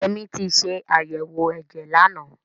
Yẹmí ti ṣe àyẹ̀wò ẹ̀jẹ̀ lánàá.